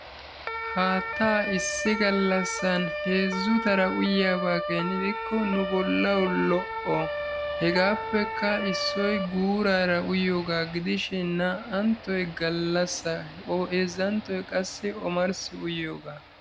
Haattaa issi gallasan heezzu tara uyiyaaba gidiko nu bollawu lo"o. Hegaappekka issoy guurara uyyiyoogaa gidishin na"anttoy gallaasa hezzanttoy qassi omarssan uyiyoogaa.